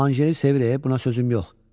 Anjeli sevir, buna sözüm yox.